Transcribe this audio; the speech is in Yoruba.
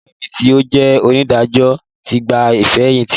Alábàágbé mi tí ó jẹ́ onídàájọ́ ti gba ìfẹ̀yìntì